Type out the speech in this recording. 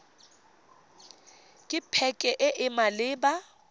ke pac e e maleba